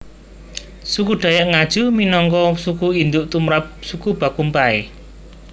Suku Dayak Ngaju minangka suku induk tumrap suku Bakumpai